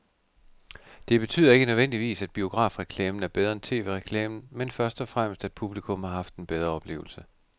Det betyder ikke nødvendigvis, at biografreklamen er bedre end tv-reklamen, men først og fremmest at publikum har haft en bedre oplevelse.